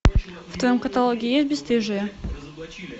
в твоем каталоге есть бесстыжие